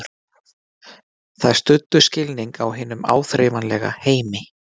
Þær studdu skilning á hinum áþreifanlega heimi.